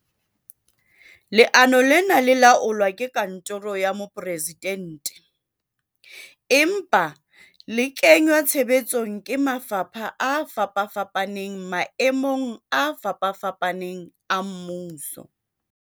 Leano lena le laolwa ke kantoro ya Mo-presidente, empa le kengwa tshebetsong ke mafapha a fapafapaneng maemong a fapafapaneng a mmuso.